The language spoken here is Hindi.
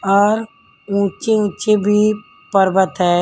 और ऊंचे ऊंचे भी पर्वत है।